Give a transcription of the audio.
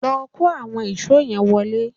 Lọ kó àwọn ìṣó yẹn wọlé